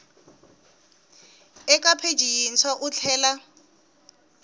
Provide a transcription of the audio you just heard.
eka pheji yintshwa u tlhela